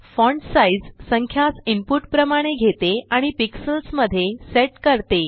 font sizसंख्यास input प्रमाणे घेते आणि पिक्सल्ज़ मध्ये सेट करते